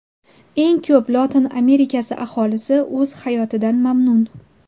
Eng ko‘p Lotin Amerikasi aholisi o‘z hayotidan mamnun.